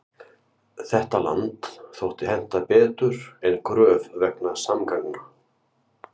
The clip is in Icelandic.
Þetta land þótti henta betur en Gröf vegna samgangna.